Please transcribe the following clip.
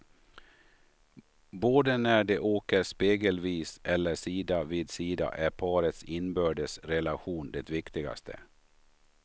Både när de åker spegelvis eller sida vid sida är parets inbördes relation det viktigaste.